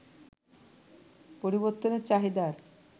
পরিবর্তনে চাহিদার